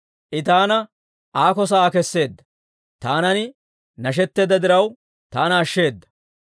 I taana aako sa'aa keseedda; taanan nashetteedda diraw, taana ashsheeda.